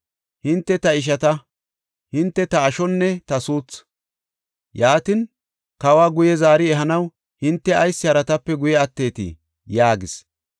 Hinte ta ishata; hinte ta ashonne ta suuthu. Yaatin, kawa guye zaari ehanaw hinte ayis haratape guye atteetii?” yaagis.